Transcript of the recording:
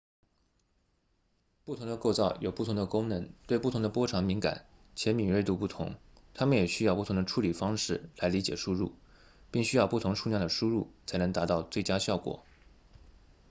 不同的构造有不同的功能对不同的波长敏感且敏锐度不同它们也需要不同的处理方式来理解输入并需要不同数量的输入才能达到最佳效果